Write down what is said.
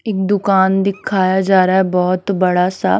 एक दुकान दिखाया जा रहा है बहुत बड़ा सा--